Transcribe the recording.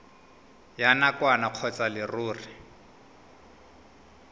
ya nakwana kgotsa ya leruri